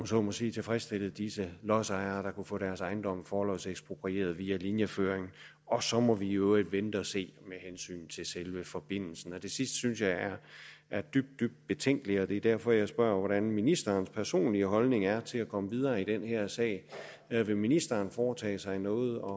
så må sige tilfredsstillet disse lodsejere der kunne få deres ejendomme forlodseksproprieret via linjeføring og så må vi i øvrigt vente og se med hensyn til selve forbindelsen det sidste synes jeg er dybt dybt betænkeligt og det er derfor jeg spørger hvordan ministerens personlige holdning er til at komme videre i den her sag vil ministeren foretage sig noget og